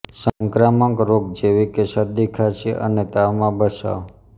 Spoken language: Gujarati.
સંક્રામક રોગ જેવી કે શરદી ખાંસી અને તાવમાં બચાવ